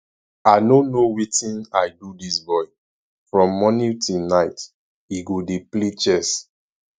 i no know wetin i do dis boy from morning till night he go dey play chess